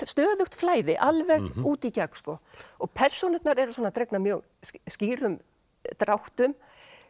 stöðugt flæði alveg út í gegn og persónurnar eru svona dregnar mjög skýrum dráttum